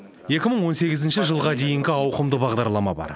екі мың он сегізінші жылға дейінгі ауқымды бағдарлама бар